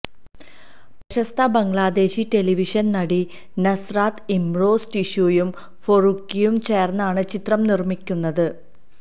പ്രശസ്ത ബംഗ്ലാദേശി ടെലിവിഷൻ നടി നസ്രാത് ഇംറോസ് ടിഷയും ഫാറൂക്കിയും ചേർന്നാണ് ചിത്രം നിർമ്മിക്കുന്നത്